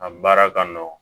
A baara ka nɔgɔn